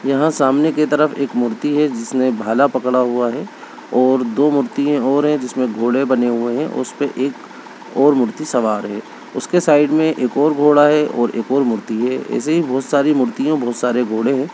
यहां सामने की तरफ एक मूर्ति है जिसने भाला पकड़ा हुआ है और दो मूर्तिए और हैं जिसमें घोड़े बने हुए हैं उस पे एक और मूर्ति सवार है उसके साइड में एक और घोड़ा है और एक और मूर्ति है ऐसे ही बहुत सारी मूर्तियों बहुत सारे घोड़े हैं।